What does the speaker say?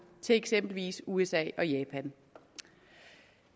til eksempelvis usa og japan